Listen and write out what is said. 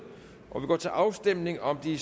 og vi går til afstemning om de